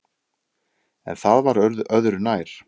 En það var öðru nær.